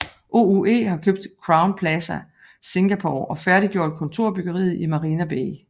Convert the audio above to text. OUE har købt Crowne Plaza Singapore og færdiggjort kontorbyggeri i Marina Bay